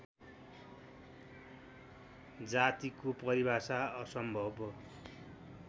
जातिको परिभाषा असम्भव